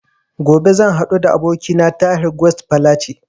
Gobe zan haɗu da abokina a Tahir Guest Falace